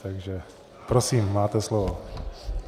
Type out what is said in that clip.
Takže prosím, máte slovo.